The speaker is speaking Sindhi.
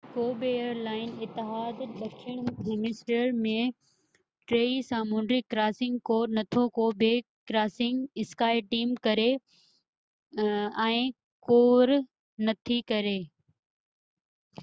ڪو بہ ايئر لائن اتحاد ڏکڻ هيمسفيئر ۾ ٽئي سامونڊي ڪراسنگ ڪور نٿو ڪري ۽ skyteam ڪو بہ ڪراسنگ ڪور نٿي ڪري